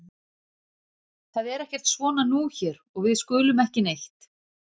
Það er ekkert svona nú hér og við skulum ekki neitt.